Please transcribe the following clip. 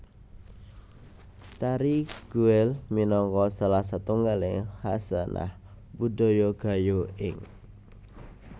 Tari Guel minangka salah satunggaling khasanah budaya Gayo ing